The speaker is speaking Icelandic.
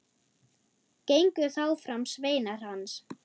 Gengu þá fram sveinar hans.